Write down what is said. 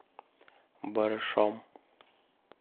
барышом